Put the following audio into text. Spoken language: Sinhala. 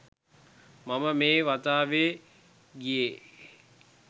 මම මේ වතාවේ ගියේ